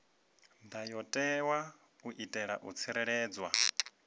ndayotewa u itela u tsireledza